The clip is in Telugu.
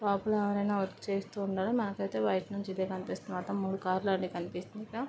లోపల ఎవరైనా వర్క్ చేస్తూ ఉండడం నాకైతే బయటనుంచి ఇదే కనిపిస్తుంది అన్నమాట మూడు కార్లు కనిపిస్తుంది.